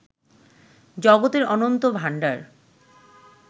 জগতের অনন্ত ভাণ্ডার